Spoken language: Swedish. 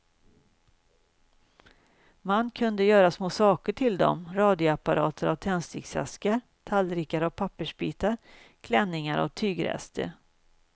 Man kunde göra små saker till dem, radioapparater av tändsticksaskar, tallrikar av pappersbitar, klänningar av tygrester.